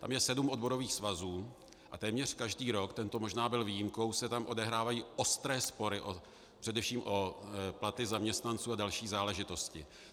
Tam je sedm odborových svazů a téměř každý rok, tento možná byl výjimkou, se tam odehrávají ostré spory, především o platy zaměstnanců a další záležitosti.